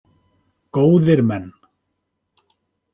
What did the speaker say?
Góðir menn!